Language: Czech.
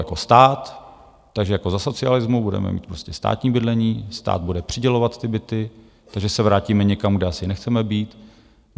Jako stát, takže jako za socialismu, budeme mít prostě státní bydlení, stát bude přidělovat ty byty, takže se vrátíme někam, kde asi nechceme být.